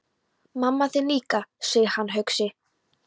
Mamma þín líka, segir hann hugsi.